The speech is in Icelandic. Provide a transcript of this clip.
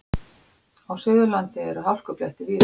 Á Suðurlandi eru hálkublettir víða